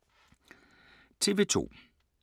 TV 2